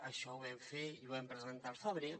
això ho vam fer i ho vam presentar al febrer